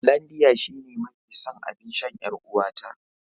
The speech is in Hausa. Hollandia shine mafi son abinshan yar'uwata.